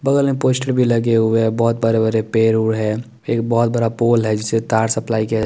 bowling poster भी लगे हुए है बोहोत बड़े बड़े पेड़ है एक बोहोत बड़ा पोल है जिससे तार सप्लाय --